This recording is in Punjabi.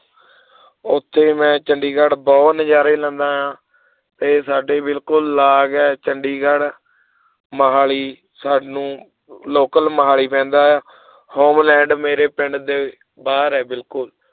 ਉੱਥੇ ਮੈਂ ਚੰਡੀਗੜ੍ਹ ਬਹੁਤ ਨਜ਼ਾਰੇ ਲੈਂਦਾ ਹਾਂ ਤੇ ਸਾਡੇ ਬਿਲਕੁਲ ਲਾਗ ਹੈ ਚੰਡੀਗੜ੍ਹ ਮੁਹਾਲੀ ਸਾਨੂੰ local ਮੁਹਾਲੀ ਪੈਂਦਾ ਹੈ ਹੋਲੈਂਡ ਮੇਰੇ ਪਿੰਡ ਦੇ ਬਾਹਰ ਹੈ ਬਿਲਕੁਲ